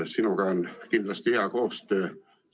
Sinuga on kindlasti hea koostöö.